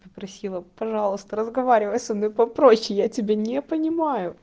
попросила пожалуйста разговаривай со мной попроще я тебя не понимаю